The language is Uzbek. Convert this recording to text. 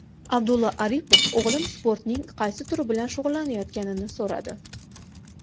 Abdulla Aripov o‘g‘lim sportning qaysi turi bilan shug‘ullanayotganini so‘radi.